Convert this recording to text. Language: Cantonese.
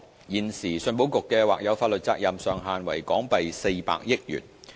現時，信保局的或有法律責任上限為港幣400億元。